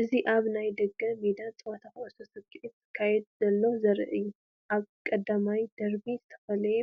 እዚ ኣብ ናይ ደገ ሜዳ ጸወታ ኩዕሶ ሰኪዔት ክካየድ ከሎ ዘርኢ እዩ። ኣብ ቀዳማይ ደርቢ ዝተፈላለየ